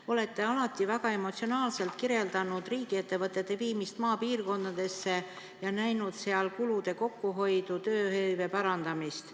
Te olete alati väga emotsionaalselt kirjeldanud riigiettevõtete viimist maapiirkondadesse ja näinud seal kulude kokkuhoidu ning tööhõive parandamist.